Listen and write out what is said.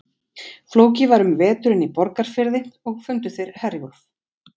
Flóki var um veturinn í Borgarfirði, og fundu þeir Herjólf.